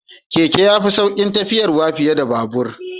Keke ya fi saukin tafiyarwa fiye da babur